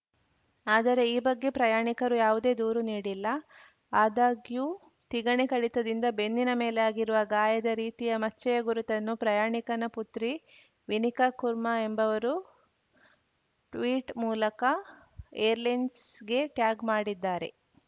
ಆದರೆ ಈ ಬಗ್ಗೆ ಪ್ರಯಾಣಿಕರು ಯಾವುದೇ ದೂರು ನೀಡಿಲ್ಲ ಆದಾಗ್ಯೂ ತಿಗಣೆ ಕಡಿತದಿಂದ ಬೆನ್ನಿನ ಮೇಲೆ ಆಗಿರುವ ಗಾಯದ ರೀತಿಯ ಮಚ್ಚೆಯ ಗುರುತನ್ನು ಪ್ರಯಾಣಿಕನ ಪುತ್ರಿ ವಿನಿಕಾ ಕುರ್ಮಾ ಎಂಬುವರು ಟ್ವೀಟ್ ಮೂಲಕ ಏರ್‌ಲೈನ್ಸ್‌ಗೆ ಟ್ಯಾಗ್‌ ಮಾಡಿದ್ದಾರೆ